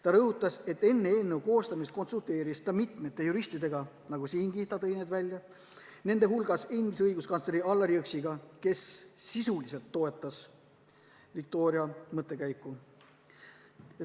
Ta rõhutas, et enne eelnõu koostamist konsulteeris ta mitme juristiga, nende hulgas endise õiguskantsleri Allar Jõksiga, kes sisuliselt toetas Viktoria mõttekäiku.